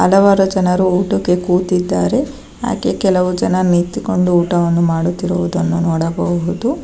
ಹಲವಾರು ಜನರು ಊಟಕ್ಕೆ ಕೂತಿದ್ದಾರೆ ಹಾಗೆ ಕೆಲವು ಜನ ನಿಂತುಕೊಂಡು ಊಟವನ್ನು ಮಾಡುತ್ತಿರುವುದನ್ನು ನೋಡಬಹುದು.